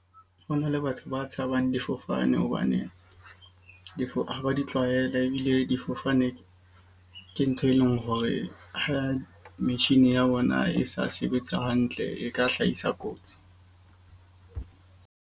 Ho na le batho ba tshabang difofane hobane ha ba di tlwaela, ebile difofane ke ntho e leng hore ha metjhine ya bona e sa sebetsa hantle e ka hlahisa kotsi.